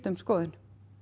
um skoðun